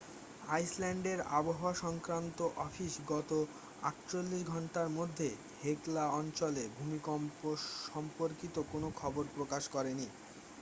আইসল্যান্ডের আবহাওয়া সংক্রান্ত অফিস গত 48 ঘন্টার মধ্যে হেকলা অঞ্চলে ভূমিকম্প সম্পর্কিত কোন খবর প্রকাশ করেনি